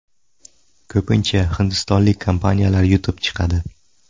Ko‘pincha hindistonlik kompaniyalar yutib chiqadi.